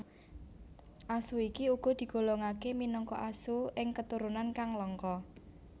Asu iki uga digolongake minangka asu ing keturunan kang langka